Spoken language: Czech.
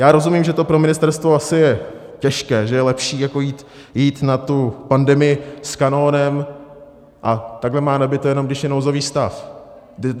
Já rozumím, že to pro ministerstvo asi je těžké, že je lepší jako jít na tu pandemii s kanónem, a takhle má nabito, jenom když je nouzový stav.